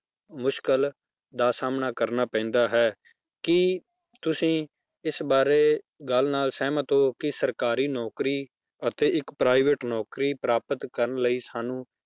ਮੁਸ਼ਕਲ ਦਾ ਸਾਹਮਣਾ ਕਰਨਾ ਪੈਂਦਾ ਹੈ, ਕੀ ਤੁਸੀਂ ਇਸ ਬਾਰੇ ਗੱਲ ਨਾਲ ਸਹਿਮਤ ਹੋ ਕਿ ਸਰਕਾਰੀ ਨੌਕਰੀ ਅਤੇ ਇੱਕ private ਨੌਕਰੀ ਪ੍ਰਾਪਤ ਕਰਨ ਲਈ ਸਾਨੂੰ